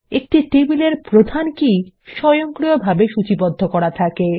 একটা টেবিলের প্রধান কী স্বয়ংক্রিয়ভাবে সূচীবদ্ধ করা থাকে